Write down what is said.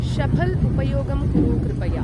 शऴल् उपयोगं कुरु कृपया ।